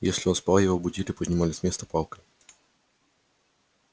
если он спал его будили поднимали с места палкой